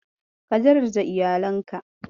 Ka daraja iyalinka.